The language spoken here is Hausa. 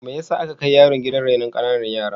Me yasa aka kai yaron gidan rainon ƙananan yara?